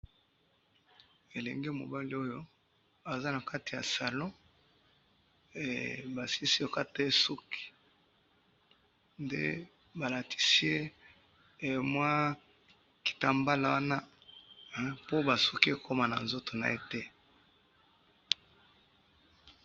elengi ya mobali oyo aza na kati salon he basilisi ko kata ye souki nde balatisiye kitambalo wana po ba souki ekoma na nzoto naye te.